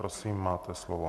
Prosím, máte slovo.